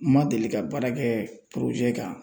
N ma deli ka baara kɛ kan.